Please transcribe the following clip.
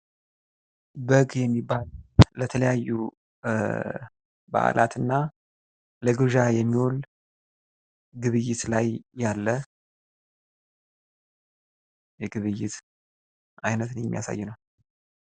በግ የሚባል ለተለያዩ በአላት እና ለግብዣ የሚውል ግብይት ላይ ያለ የግብይት አይነትን የሚያሳይ ነው።